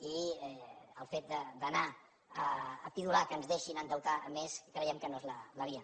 i el fet d’anar a pidolar que ens deixin endeutar més creiem que no és la via